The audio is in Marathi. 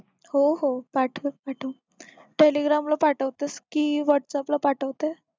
हो हो पाठव पाठव telegram ला पाठवतेस की whats app ला पाठवतेस